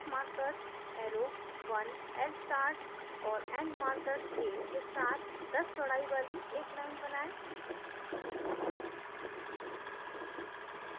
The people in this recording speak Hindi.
3 start markers arrow1lstart और end markers tail के साथ 10 चौडाई वाली एक line बनाएँ